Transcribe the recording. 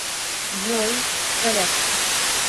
джой в порядке